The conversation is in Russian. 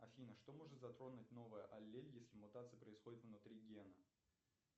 афина что может затронуть новая аллель если мутация происходит внутри гена